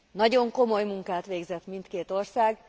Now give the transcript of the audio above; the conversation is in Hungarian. Nagyon komoly munkát végzett mindkét ország.